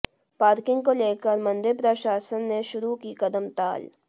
parking को लेकर मंदिर प्रशासन ने शुरू की कदमताल